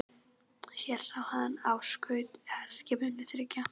Hér sá hann á skut herskipanna þriggja.